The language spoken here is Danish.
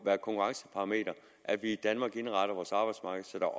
være et konkurrenceparameter at vi i danmark indretter vores arbejdsmarked så der